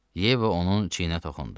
Yeva onun çiyninə toxundu.